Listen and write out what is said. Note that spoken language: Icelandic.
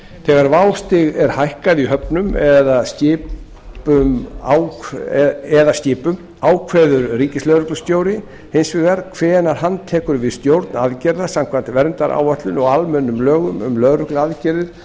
þegar vástig er hækkað í höfnum eða skipum ákveður ríkislögreglustjóri hins vegar hvenær hann tekur við stjórn aðgerða samkvæmt verndaráætlun og almennum lögum um lögregluaðgerðir